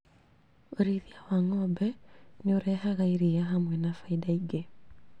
ũrĩithia wa ng'ombe nĩũrehaga iria hamwe na baida ingĩ